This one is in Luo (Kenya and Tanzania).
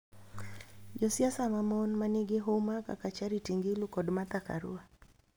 Josiasa mamon manigi huma kaka Charity Ngilu kod Martha Karua